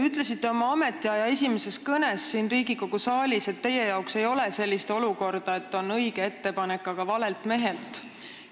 Ütlesite oma ametiaja esimeses kõnes siin Riigikogu saalis, et teie jaoks ei ole sellist olukorda, et on õige ettepanek, aga valelt mehelt.